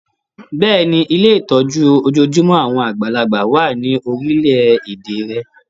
Bẹ́ẹ̀ni, Ilé ìtọ́jú ojojúmọ́ àwọn àgbàlagbà wà ní orílẹ̀-èdè rẹ